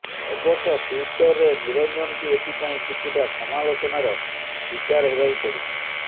ଅବଶ୍ୟ ଟ୍ୱିଟରରେ ନିରଞ୍ଜନଙ୍କୁ ଏଥିପାଇଁ କିଛିଟା ସମାଲୋଚନାର ଶିକାର ହେବାକୁ ପଡ଼ିଛି